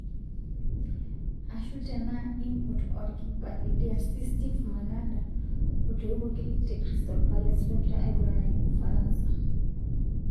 Ashu tenaa impot orkipa le DRC Steve Mandanda otoiwoki te Crystal palace logira aiguranaki Ufaransa.